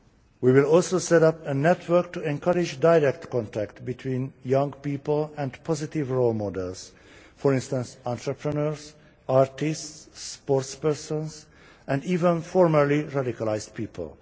We will also set up a network to encourage direct contact between young people and positive role models, for instance, entrepreneurs, artists, sports persons and even formerly radicalised people.